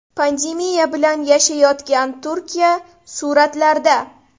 Pandemiya bilan yashayotgan Turkiya suratlarda.